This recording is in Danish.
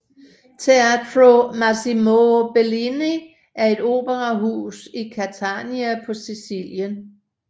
Teatro Massimo Bellini er et operahus i Catania på Sicilien